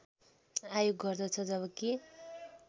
आयोग गर्दछ जबकि